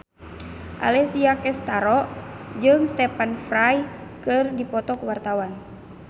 Alessia Cestaro jeung Stephen Fry keur dipoto ku wartawan